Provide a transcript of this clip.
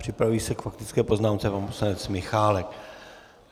Připraví se k faktické poznámce pan poslanec Michálek.